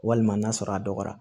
Walima n'a sɔrɔ a dɔgɔyara